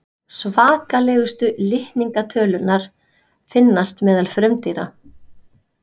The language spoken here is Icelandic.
Svakalegustu litningatölurnar finnast meðal frumdýra.